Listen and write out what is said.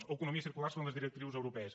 o economia circular segons les directrius europees